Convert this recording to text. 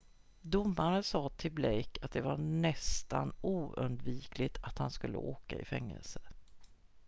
"domaren sa till blake att det var "nästan oundvikligt" att han skulle åka i fängelse.